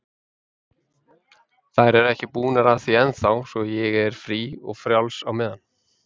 Þær eru ekki búnar að því ennþá, svo ég er frí og frjáls á meðan.